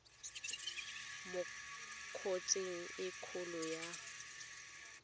mo kotsing e kgolo ya